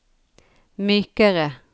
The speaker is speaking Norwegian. mykere